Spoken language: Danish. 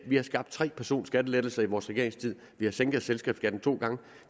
vi har skabt tre personskattelettelser i vores regeringstid vi har sænket selskabsskatten to gange